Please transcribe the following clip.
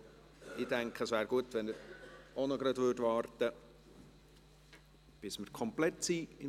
Aber ich denke, es wäre gut, wenn er auch gleich noch warten würde, bis wir hier im Saal komplett sind.